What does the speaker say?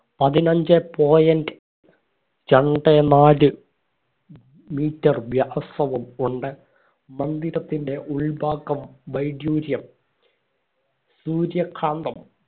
പതിനഞ്ചേ point രണ്ടേ നാല് metre വ്യഹസ്സവും ഉണ്ട് മന്ദിരത്തിന്റെ ഉൾഭാഗം വൈഡൂര്യം സൂര്യകാന്തം